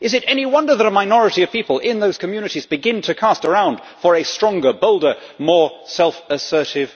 Is it any wonder that a minority of people in those communities begin to cast around for a stronger, bolder, more self assertive